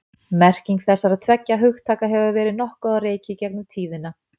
merking þessara tveggja hugtaka hefur verið nokkuð á reiki í gegnum tíðina